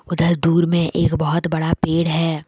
उधर दूर में एक बहोत बड़ा पेड़ है।